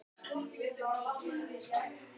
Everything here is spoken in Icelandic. Þar stóð lágvaxin kona við kolaeldavél.